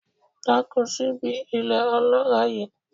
Dáko síbi ilẹ̀ ọlọ́ràá yìí.